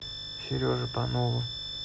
сереже панову